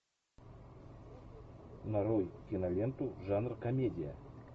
нарой киноленту жанр комедия